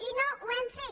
i no ho hem fet